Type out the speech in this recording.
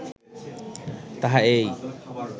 তাহা এই